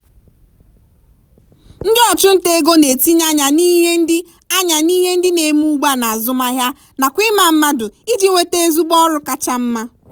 ndị ọchụnta ego na-etinye anya n'ihe ndị anya n'ihe ndị na-eme ugbua n'azụmahịa nakwa ịma mmadụ iji nweta ezigbo ọrụ kacha mma.